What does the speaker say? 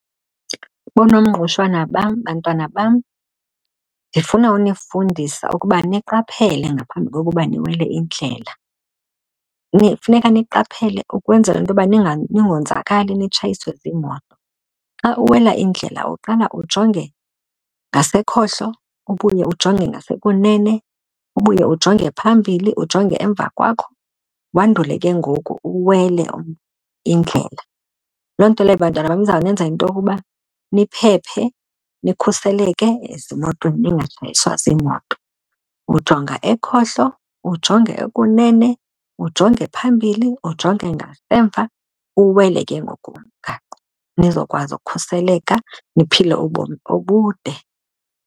BooNomngqushwana bam, bantwana bam ndifuna unifundisa ukuba niqaphele ngaphambi kokuba niwele indlela. Funeka niqaphele ukwenzela into yoba ningonzakali nditshayiswe ziimoto. Xa uwela indlela uqala ujonge ngasekhohlo, ubuye ujonge ngasekunene, ubuye ujonge phambili, ujonge emva kwakho wandule ke ngoku uwele indlela. Loo nto leyo bantwana bam izawunenza into okuba niphephe, nikhuselekile ezimotweni ningatshayiswa ziimoto. Ujonga ekhohlo, ujonge ekunene, ujonge phambili, ujonge ngasemva, uwuwele ke ngoku umgaqo nizokwazi ukukhuseleka niphile ubomi obude.